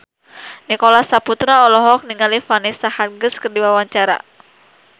Nicholas Saputra olohok ningali Vanessa Hudgens keur diwawancara